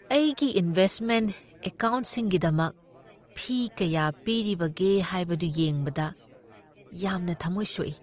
ꯑꯩꯒꯤ ꯏꯟꯚꯦꯁꯠꯃꯦꯟꯠ ꯑꯦꯀꯥꯎꯟꯠꯁꯤꯡꯒꯤꯗꯃꯛ ꯐꯤ ꯀꯌꯥ ꯄꯤꯔꯤꯕꯒꯦ ꯍꯥꯏꯕꯗꯨ ꯌꯦꯡꯕꯗ ꯌꯥꯝꯅ ꯊꯃꯣꯏ ꯁꯣꯛꯏ ꯫